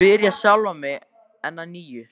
spyr ég sjálfan mig enn að nýju.